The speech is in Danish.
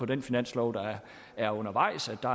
den finanslov der er undervejs er der